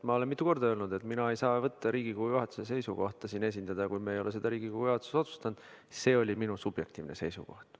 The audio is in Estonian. Ma olen mitu korda öelnud, et mina ei saa Riigikogu juhatuse seisukohta siin esindada, kui me ei ole seda Riigikogu juhatuses otsustanud, ja see oli minu subjektiivne seisukoht.